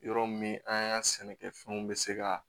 Yɔrɔ min an ka sɛnɛkɛfɛnw bɛ se ka